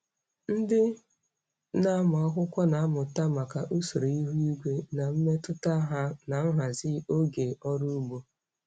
Ndị na-amụ akwụkwọ na-amụta maka usoro ihu igwe na mmetụta ha na nhazi oge ọrụ ugbo.